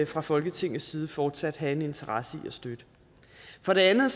fra folketingets side fortsat have en interesse i at støtte for det andet